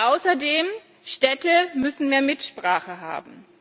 Außerdem Städte müssen mehr Mitsprache haben.